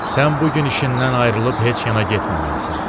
Sən bu gün işindən ayrılıb heç yana getməməlisən.